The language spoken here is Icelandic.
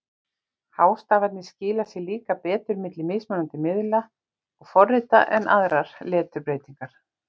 Hástafirnir skila sér líka betur milli mismunandi miðla og forrita en aðrar leturbreytingar.